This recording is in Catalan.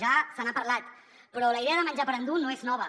ja se n’ha parlat però la idea de menjar per endur no és nova